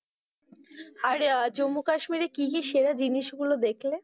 অরে আহ জম্বু কাশ্মীরে কি কি সেরা জিনিস গুলো দেখলে?